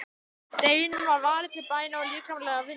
Deginum var varið til bæna og líkamlegrar vinnu.